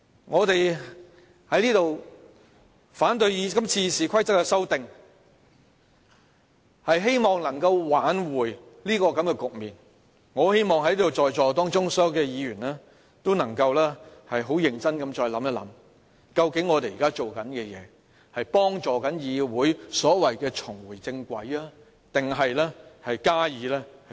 我們在此反對今次修訂《議事規則》是希望能夠挽回這種局面，我很希望在座所有議員也能再認真思考，究竟我們現在做的事是正在幫助議會所謂的重回正軌，還是進一步加以摧毀？